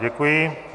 Děkuji.